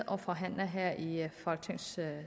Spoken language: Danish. og forhandler her i folketingssalen